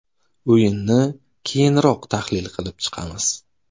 O‘yinni keyinroq tahlil qilib chiqamiz.